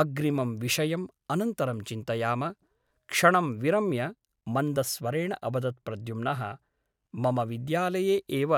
अग्रिमं विषयम् अनन्तरं चिन्तयाम क्षणं विरम्य मन्दस्वरेण अवदत् प्रद्युम्नः मम विद्यालये एव